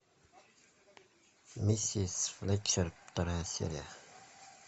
миссис флетчер вторая серия